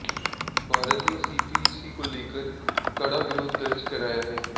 भारत ने सीपीईसी को लेकर कड़ा विरोध दर्ज कराया है